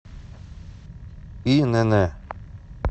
инн